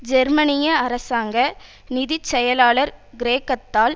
ஜெர்மனிய அரசாங்க நிதி செயலர் கிரேக்கத்தால்